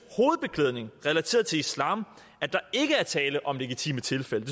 hovedbeklædning relateret til islam at der ikke er tale om et legitimt tilfælde